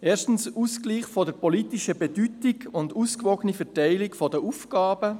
Erstens, Ausgleich der politischen Bedeutung und ausgewogene Verteilung der Aufgaben;